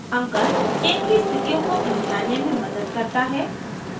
अंकन chain की स्थितियों को पहचानने में मदद करता है